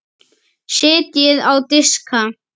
Setjið á diska.